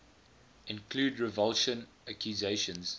include revulsion accusations